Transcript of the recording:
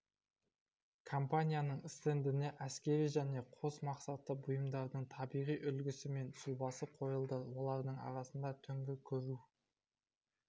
компанияның стендіне әскери және қос мақсатты бұйымдардың табиғи үлгісі мен сұлбасы қойылды олардың арасында түнгі көру